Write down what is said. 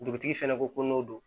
Dugutigi fɛnɛ ko ko n'o don